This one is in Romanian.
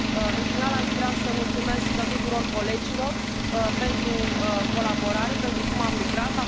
În final, aș vrea să mulțumesc tuturor colegilor pentru colaborare, pentru cum am lucrat.